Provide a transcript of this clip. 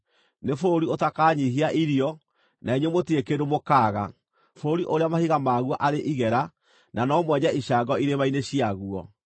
nĩ bũrũri ũtakanyiihia irio, na inyuĩ mũtirĩ kĩndũ mũkaaga, bũrũri ũrĩa mahiga maguo arĩ igera, na no mwenje icango irĩma-inĩ ciaguo.